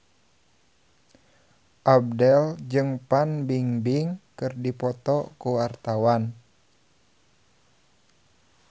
Abdel jeung Fan Bingbing keur dipoto ku wartawan